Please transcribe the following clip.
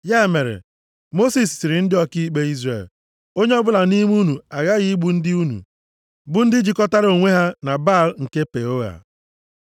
Ya mere, Mosis sịrị ndị ọkaikpe Izrel, “Onye ọbụla nʼime unu aghaghị igbu ndị unu, bụ ndị jikọtara onwe ha na Baal nke Peoa.”